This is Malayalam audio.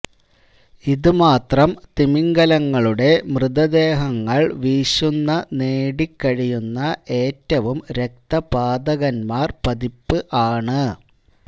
ഇത് മാത്രം തിമിംഗലങ്ങളുടെ മൃതദേഹങ്ങൾ വീശുന്ന നേടി കഴിയുന്ന ഏറ്റവും രക്തപാതകന്മാർ പതിപ്പ് ആണ്